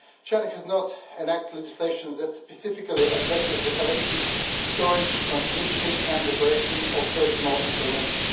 China has not enacted legislation that specifically addresses the collection, storage, transmission and operation of personal information.